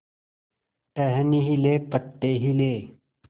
टहनी हिली पत्ते हिले